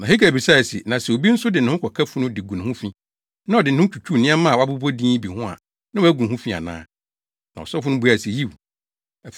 Na Hagai bisae se, “Na sɛ obi nso de ne ho ka funu de gu ne ho fi, na ɔde ne ho twitwiw nneɛma a wɔabobɔ din yi bi ho a na wɔagu ho fi ana?” Na asɔfo no buae se, “Yiw.”